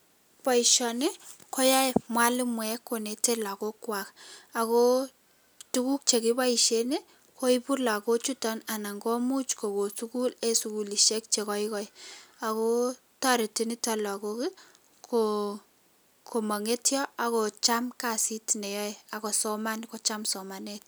Boisioni koyae mwalimuek konetei lakokwai ako tuguk chekipoishen koipu lakochuto anan koimuch kokon sukul eng sukulishiek che koikai ako toreti nitok lakok komangetio ako cham kasiit neyoe ako kosoman kocham somanet.